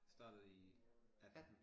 Startede i 18